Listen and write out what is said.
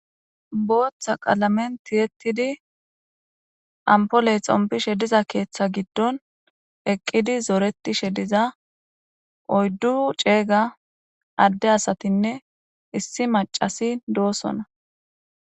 booththa qalamen tiyettidi ampoley xompi she diza keeththa giddon eqqidi zoreti she diza oyddu ceeyga adde asatinne issi macasi doosona